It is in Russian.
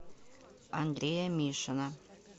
андрея мишина